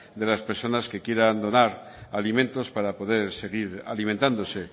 de las personas que quieran donar alimentos para poder seguir alimentándose